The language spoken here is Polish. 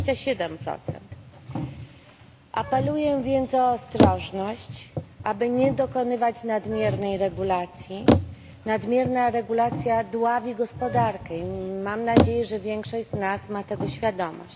27. Apeluję więc o ostrożność, aby nie dokonywać nadmiernej regulacji nadmierna regulacja dławi gospodarkę i mam nadzieję, że większość z nas ma tego świadomość.